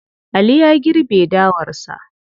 Ali ya girbe dawarsa.